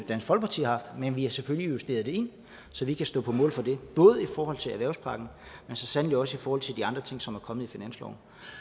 dansk folkeparti har haft men vi har selvfølgelig justeret det så vi kan stå på mål for det både i forhold til erhvervspakken men så sandelig også i forhold til de andre ting som er kommet i finansloven